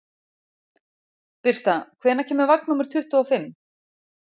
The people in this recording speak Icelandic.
Birta, hvenær kemur vagn númer tuttugu og fimm?